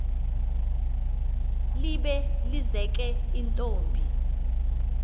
libe lizeke intombi